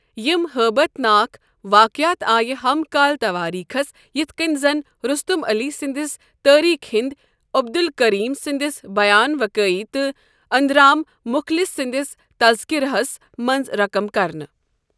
یم حٲبتھ ناكھ واقعات آیہ ہم كال تواریخس یتھ كٔنۍ زن رستم علی سٕنٛدس تاریخ ہندی، عبدالکریم سٕندِس بیان وکٲیی تہٕ آنند رام مخلص سٕندِس تذکرہ ہس منٛز رقم كرنہٕ ۔